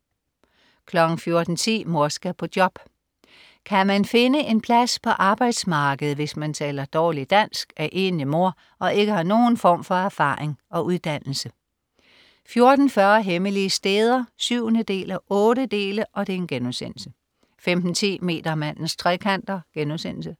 14.10 Mor skal på job. Kan man finde en plads på arbejdsmarkedet, hvis man taler dårligt dansk, er enlig mor og ikke har nogen form for erfaring og uddannelse? 14.40 Hemmelige steder 7:8* 15.10 Metermandens trekanter*